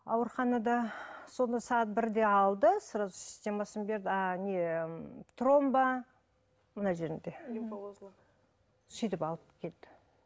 ауруханада соны сағат бірде алды сразу системасын берді а не тромба мына жерінде лимфоузлов сөйтіп алып келді